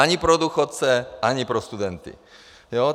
Ani pro důchodce, ani pro studenty, jo?